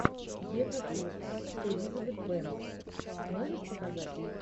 евротур с элизабет бэнкс можешь показать